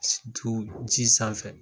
Tu ji sanfɛ